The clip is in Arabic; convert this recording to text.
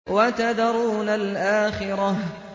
وَتَذَرُونَ الْآخِرَةَ